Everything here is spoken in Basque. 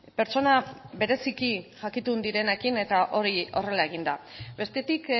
pertsona bereziki jakitun direnekin eta hori horrela egin da bestetik